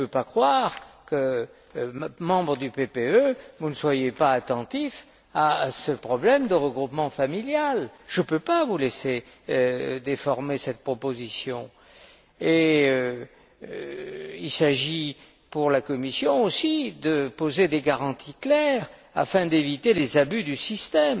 Je ne peux pas croire que, en tant que membre du PPE, vous ne soyez pas attentif à ce problème de regroupement familial. Je ne peux pas vous laisser déformer cette proposition. Il s'agit, pour la Commission également, d'établir des garanties claires afin d'éviter tout abus du système.